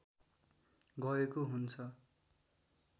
गएको हुन्छ